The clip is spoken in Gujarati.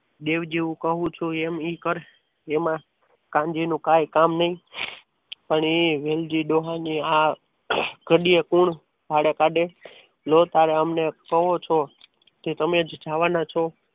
દેવજી હું કહું છું એમ એ કર એમાં કાનજી નું કંઈ કામ નહીં પણ એ વેલજી ડોહાની આ ઘડીએ કોણ વાળા કાઢે લો તારે તમને એમ કહો છો કે તમે જ જવાના છો.